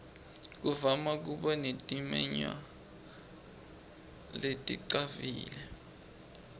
kuvama kuba netimenywa leticavile